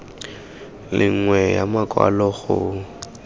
le nngwe ya makwalo go